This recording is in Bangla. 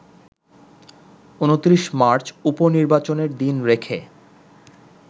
২৯ মার্চ উপ-নির্বাচনের দিন রেখে